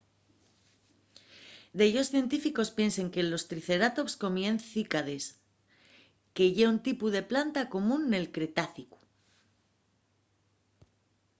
dellos científicos piensen que los triceratops comíen cícades que ye un tipu de planta común del cretácicu